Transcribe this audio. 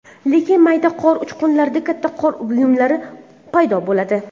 Lekin mayda qor uchqunlaridan katta qor uyumlari paydo bo‘ladi.